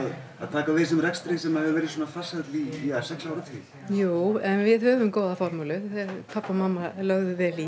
að taka við þessum rekstri sem hefur verið svona farsæll í sex áratugi jú en við höfum góða formúlu pabbi og mamma lögðu vel í